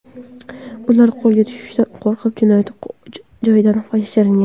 Ular qo‘lga tushishdan qo‘rqib, jinoyat joyidan yashiringan.